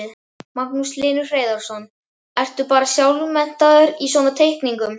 Magnús Hlynur Hreiðarsson: Ertu bara sjálfmenntaður í svona teikningum?